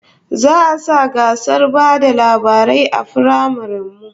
Za'a sa gasar ba da labarai a firamaren mu